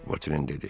Votren dedi.